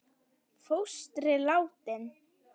Fóstri látinn.